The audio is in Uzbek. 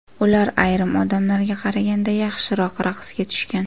Ular ayrim odamlarga qaraganda yaxshiroq raqsga tushgan.